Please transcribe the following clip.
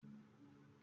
Ó sì ní ọ̀pọ̀ àìsàǹfàní.